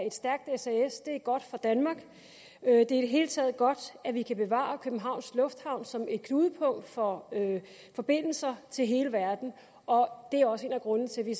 et stærkt sas er godt for danmark det er i det hele taget godt at vi kan bevare københavns lufthavn som et knudepunkt for forbindelser til hele verden og det er også en af grundene til at vi